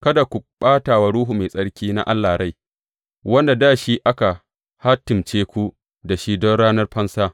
Kada kuma ku ɓata wa Ruhu Mai Tsarki na Allah rai, wanda da shi aka hatimce ku da shi don ranar fansa.